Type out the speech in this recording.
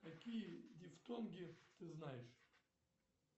какие дифтонги ты знаешь